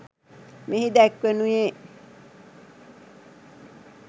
මෙහි දැක්වෙනුයේ